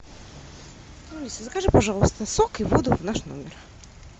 алиса закажи пожалуйста сок и воду в наш номер